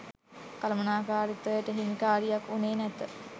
කළමනාකාරිත්වයට හිමි කාරියක් වුණේ නැත